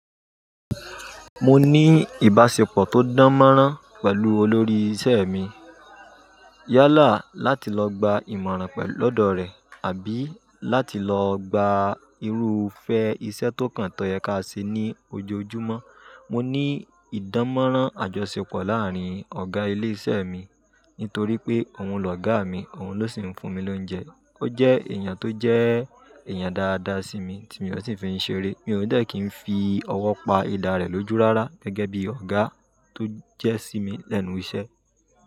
Mo ní ìbáṣepọ̀ tó dàn mọ́rán pẹ̀lú olórí isẹ́ mi. Yálà láti lọ gba ìmọ̀ràn pẹ̀lú lọ́dọ̀ rẹ̀ àbí láti lọ gba irú fẹ́ isẹ́ tó kàn tọ́ yẹ ká ṣe ní ojoojúmọ́. Mo ní ìdánmọ́rán àjọṣepọ̀ láàárín ọ̀gá ilé iṣẹ́ mi nítorí pé òun lọ̀gá a mi, òun ló sì ń fún mi lóúnjẹ. Ó jẹ́ èèyàn tó jẹ́ èèyàn dáadáa sí mi tí mi ò sì fi í ṣeré. Mi ò dẹ́ kí n fi ọwọ́ pa idà rẹ̀ lójú rárá, gẹ́gẹ́ bí ọ̀gá tó jẹ́ sí mi lẹ́nu iṣẹ́.